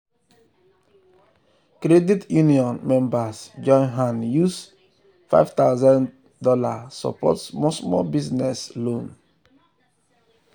credit union members join hand use five thousand dollars support small small business loan.